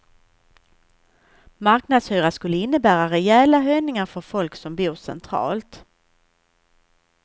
Marknadshyra skulle innebära rejäla höjningar för folk som bor centralt.